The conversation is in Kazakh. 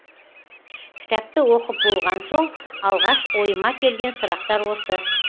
кітапты оқып болған соң алғаш ойыма келген сұрақтар осы